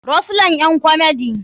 rose line ƴan komedi.